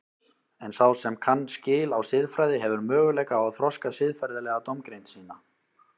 En sá sem kann skil á siðfræði hefur möguleika á að þroska siðferðilega dómgreind sína.